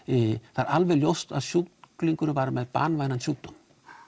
það er alveg ljóst að sjúklingurinn var með banvænan sjúkdóm